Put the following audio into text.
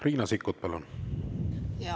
Riina Sikkut, palun!